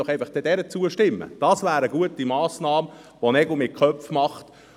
Stimmen Sie dieser einfach zu, dies wäre eine gute Massnahme, um Nägel mit Köpfen zu machen.